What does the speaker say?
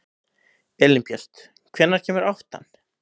Elínbjört, hvenær kemur áttan?